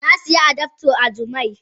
Na siya adaptor a jumia.